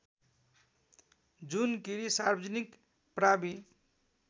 जुनकीरी सार्वजनिक प्रावि